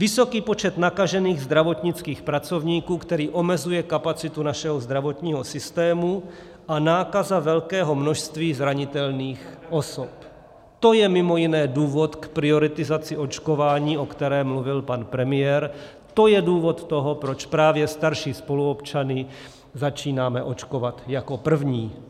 Vysoký počet nakažených zdravotnických pracovníků, který omezuje kapacitu našeho zdravotního systému, a nákaza velkého množství zranitelných osob, to je mimo jiné důvod k prioritizaci očkování, o které mluvil pan premiér, to je důvod toho, proč právě starší spoluobčany začínáme očkovat jako první.